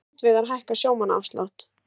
Strandveiðar hækka sjómannaafslátt